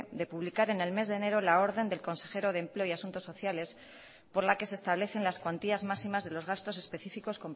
de publicar en el mes de enero la orden del consejero de empleo y asuntos sociales por la que se establecen las cuantías máximas de los gastos específicos